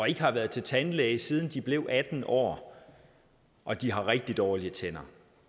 ikke har været til tandlæge siden de blev atten år og de har rigtig dårlige tænder